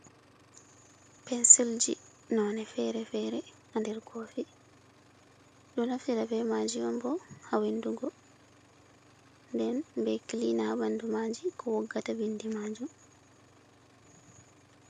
Pensiljii, none fere-fere, ha nder koofi, ɗo naftira be maaji on boo, ha winndugo, den be kilina ha ɓandu maaji ko woggata bindi maajuum.